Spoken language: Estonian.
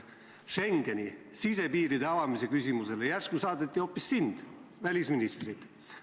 Schengeni sisepiiride avamise küsimust arutama järsku saadeti hoopis sind, välisministrit.